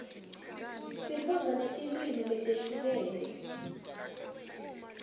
sifundza netilwimi letehlukene